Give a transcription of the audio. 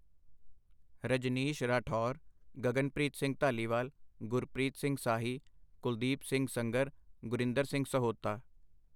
Rajneesh Rathore, Gaganpreet Singh Dhaliwal, Gurpreet Singh Sahi, Kuldeep Singh Sangar, Gurinder Singh Sahota